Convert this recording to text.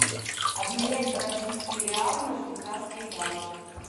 обменять бразильские реалы на швейцарские франки